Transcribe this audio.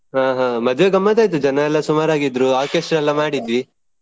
ಹಾ ಹಾ ಮದ್ವೆ ಗಮ್ಮತ್ ಆಯ್ತು ಜನ ಎಲ್ಲ ಸುಮಾರ್ ಆಗಿದ್ರು Orchestra ಎಲ್ಲ ಮಾಡಿದ್ವಿ.